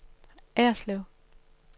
Erslev